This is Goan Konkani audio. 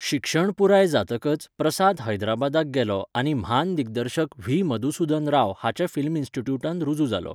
शिक्षण पुराय जातकच, प्रसाद हैदराबादाक गेलो आनी म्हान दिग्दर्शक व्ही.मधुसुधन राव हाच्या फिल्म इन्स्टिट्यूटांत रुजू जालो.